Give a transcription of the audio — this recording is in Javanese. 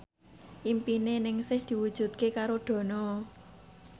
impine Ningsih diwujudke karo Dono